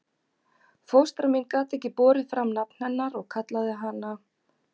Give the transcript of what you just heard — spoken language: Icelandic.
Fóstra mín gat ekki borið fram nafn hennar og kallaði hana